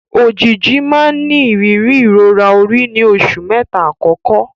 Òjìji máa ń ní ìrírí ìrora orí ní oṣù mẹ́ta àkọ́kọ́.